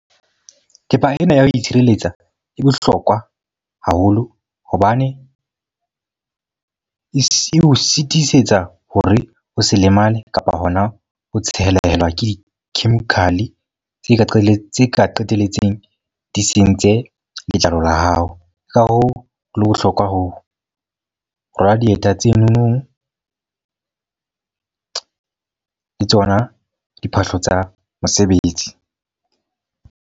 Thepa ena ya ho itshireletsa e bohlokwa haholo. Hobane e o sitisetsa hore o se lemale kapa hona ho tshelela ke di-chemical tse ka qetelletse ka qetelletseng di sentse letlalo la hao. Ka hoo, ho bohlokwa ho rwala dieta tse nonong le tsona diphahlo tsa mosebetsi.